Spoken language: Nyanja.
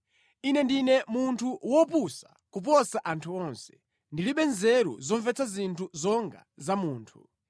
“Ine ndine munthu wopusa kuposa anthu onse; ndilibe nzeru zomvetsa zinthu zonga za munthu.